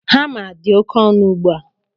Hama dị oke ọnụ ugbu a